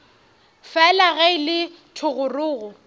fela ge e le thogorogo